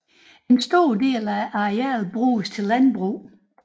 En stor del af arealet bruges til landbrug